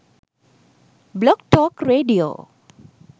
blog talk radio